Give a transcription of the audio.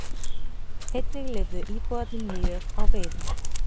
Einnig lifðu íbúarnir mjög á veiðum.